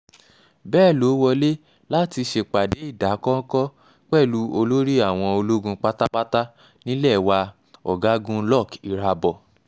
bẹ́ẹ̀ ló wọlé láti ṣèpàdé ìdákọ́ńkọ́ pẹ̀lú olórí àwọn ológun pátápátá nílé wa ọ̀gágun luck irabor